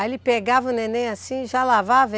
Aí ele pegava o neném assim e já lavava?